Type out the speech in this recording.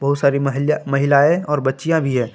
बहुत सारी महिलाएं और बच्चियों भी है।